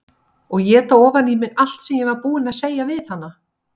Og éta ofan í mig allt sem ég var búin að segja við hana.